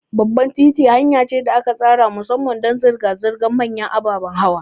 Babban titi hanya ce da aka tsara musamman don zirga-zirgar manyan ababen hawa.